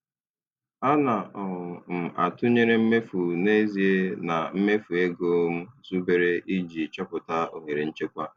Ana um m atụnyere mmefu n'ezie na mmefu ego m zubere iji chọpụta ohere nchekwa.